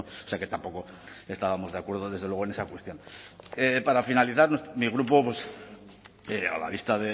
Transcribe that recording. o sea que tampoco estábamos de acuerdo desde luego en esa cuestión para finalizar mi grupo a la vista